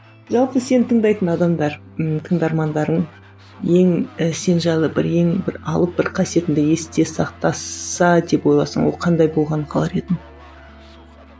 жалпы сен тыңдайтын адамдар ммм тыңдармандарың ең сен жайлы бір ең бір алып бір қасиетіңді есте сақтаса деп ойласаң ол қандай болғанын қалар едің